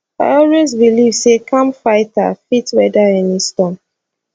i always believe say calm fighter fit weather any storm